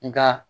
Nka